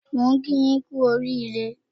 Mo ń kí yín kú oríire